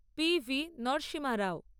P V Narasimha Rao